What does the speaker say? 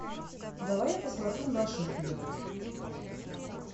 давай я посмотрю наших бьют